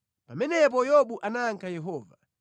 Pamenepo Yobu anayankha Yehova: